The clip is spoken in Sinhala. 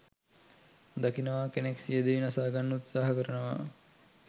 දකිනවා කෙනෙක් සියදිවි නසා ගන්න උත්සහා කරනවා.